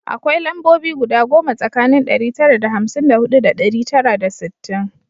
Akwai lambobi guda goma tsakanin ɗari tara da hamsin da huɗu da ɗari tara da sittin